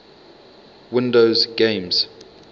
windows games